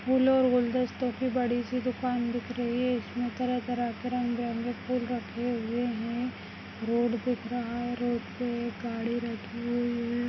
फूल और गुलदस्तोंकी बाडीसी दुकान दिख रही है इसमे तरह तरह के रंग बिरंगे फूल रखे हुए है रोड दिख रहा है रोड पे एक गाड़ी लगी हुई है।